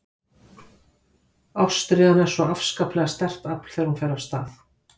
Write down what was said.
Ástríðan er svo afskaplega sterkt afl þegar hún fer af stað.